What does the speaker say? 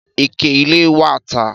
Ìkẹ ìlẹ wà tà